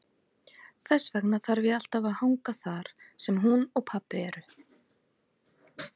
Þess vegna þarf ég alltaf að hanga þar sem hún og pabbi eru.